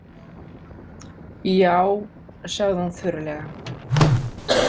Já, sagði hún þurrlega.